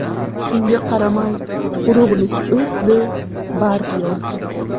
Shunga qaramay, urug‘lik o‘sdi, barg yozdi.